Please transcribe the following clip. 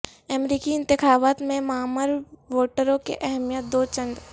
امریکی انتخابات میں معمر ووٹروں کی اہمیت دو چند